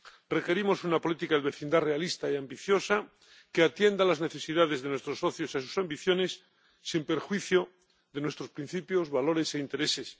Requerimos una política de vecindad realista y ambiciosa que atienda a las necesidades de nuestros socios y a sus ambiciones sin perjuicio de nuestros principios, valores e intereses.